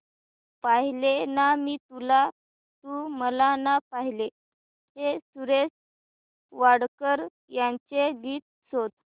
पाहिले ना मी तुला तू मला ना पाहिले हे सुरेश वाडकर यांचे गीत शोध